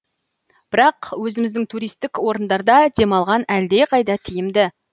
бірақ өзіміздің туристік орындарда демалған әлдеқайда тиімді